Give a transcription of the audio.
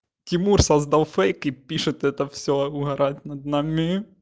тимур создал фейк и пишет это все угорает над нами